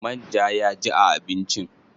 Man ja ya ji a abincin?